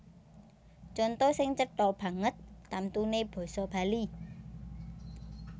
Conto sing cetha banget tamtuné basa Bali